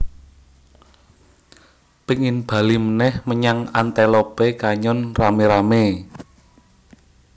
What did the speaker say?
Pingin bali meneh menyang Antelope Canyon rame rame